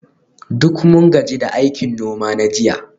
Duk mun gaji da aikin noma na jiya